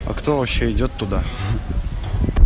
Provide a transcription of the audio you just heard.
а кто вообще идёт туда